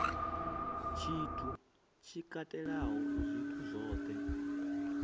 tshithu tshi katelaho zwithu zwohe